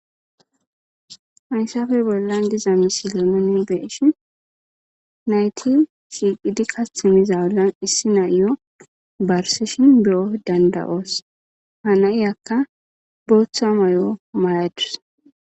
Faysafey bollan diza misilo nuni beeshin nayti shiiqidi kathi miza wullan issi na'iyo barsishin beyo danda'oos hanai akka booththa may'o mayadus